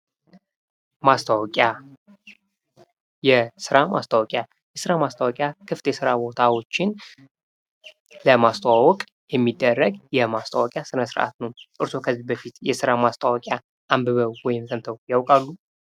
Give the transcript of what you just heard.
ማስታወቂያ የስራ ማስታወቂያ የስራ ማስታወቂያ ክፍት የስራ ቦታዎችን ለማስተዋወቅ የሚደረግ ስነ-ስርዓት ነው። እርስዎ ከዚህ በፊት የስራ ማስታወቂያ አንብበው ወይም ደግሞ ሰምተው ያውቃሉ?